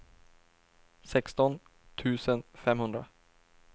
sexton tusen femhundra